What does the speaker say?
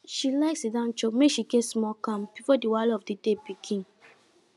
she like siddon chop make she get small calm before the wahala of the day begin